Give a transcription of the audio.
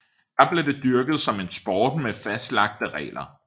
Der blev det dyrket som en sport med fastlagte regler